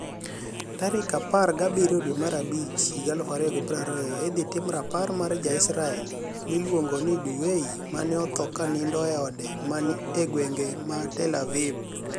Tarik apar gi abiryo dwe mar abich higa 2020 idhi tim rapar mar ja israel miluonigo nii Du Wei ma ni e otho kaniinido eode manii egwenige ma tel- aviv.